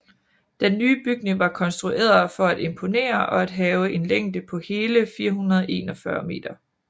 Den nye bygning var konstrueret for at imponere og havde en længde på hele 441 meter